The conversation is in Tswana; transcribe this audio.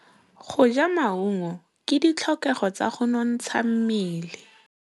Go ja maungo ke ditlhokegô tsa go nontsha mmele.